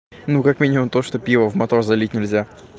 ну как минимум то что пиво в мотор залить нельзя